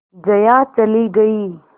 जया चली गई